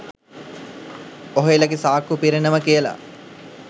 ඔහේලගේ සාක්කු පිරෙනවා කියලා